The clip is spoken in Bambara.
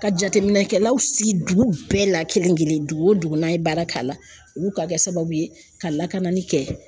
Ka jateminɛkɛlaw sigi dugu bɛɛ la kelen kelen dugu o dugu n'an ye baara k'a la olu ka kɛ sababu ye ka lakanani kɛ